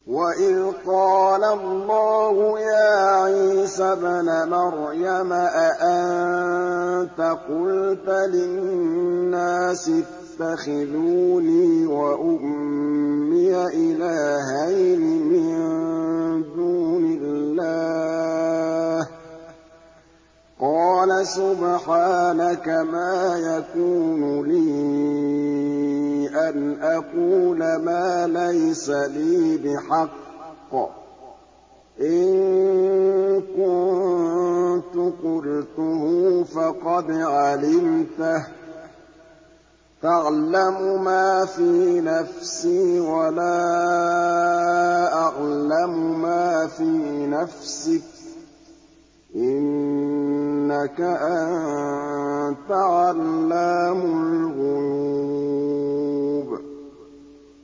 وَإِذْ قَالَ اللَّهُ يَا عِيسَى ابْنَ مَرْيَمَ أَأَنتَ قُلْتَ لِلنَّاسِ اتَّخِذُونِي وَأُمِّيَ إِلَٰهَيْنِ مِن دُونِ اللَّهِ ۖ قَالَ سُبْحَانَكَ مَا يَكُونُ لِي أَنْ أَقُولَ مَا لَيْسَ لِي بِحَقٍّ ۚ إِن كُنتُ قُلْتُهُ فَقَدْ عَلِمْتَهُ ۚ تَعْلَمُ مَا فِي نَفْسِي وَلَا أَعْلَمُ مَا فِي نَفْسِكَ ۚ إِنَّكَ أَنتَ عَلَّامُ الْغُيُوبِ